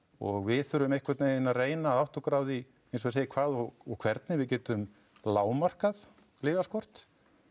og við þurfum einhvern veginn að reyna að átta okkur á því eins og ég segi hvað og hvernig við getum lágmarkað lyfjaskort